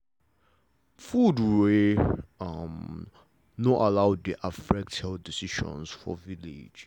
food wey um no allow dey affect health decisions for village